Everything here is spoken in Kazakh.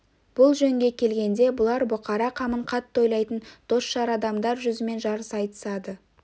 бұл жөнге келгенде бұлар бұқара қамын қатты ойлайтын дос-жар адамдар жүзімен жарыса айтысады